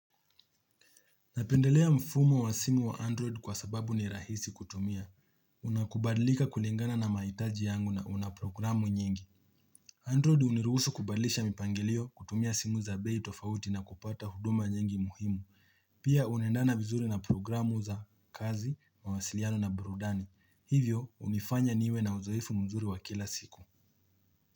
Napendelea mfumo wa simu wa Android kwa sababu ni rahisi kutumia. Unakubadlika kulingana na maitaji yangu na una programu nyingi. Android uniruhusu kubadilisha mipangelio kutumia simu za bei tofauti na kupata huduma nyingi muhimu. Pia unaendana vizuri na programu za kazi, mawasiliano na burudani. Hivyo hunifanya niwe na uzoefu mzuri wa kila siku.